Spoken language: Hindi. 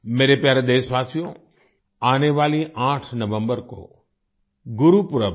मेरे प्यारे देशवासियो आने वाली 8 नवम्बर को गुरुपुरब है